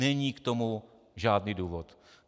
Není k tomu žádný důvod.